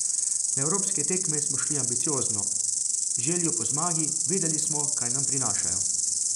Na evropske tekme smo šli ambiciozno, z željo po zmago, vedeli smo, kaj nam prinašajo.